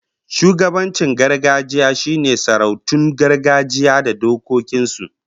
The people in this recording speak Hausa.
Shugabancin gargajiya shine sarautun gargajiya da dokokin su